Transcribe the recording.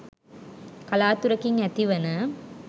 කලාතුරකින් ඇතිවන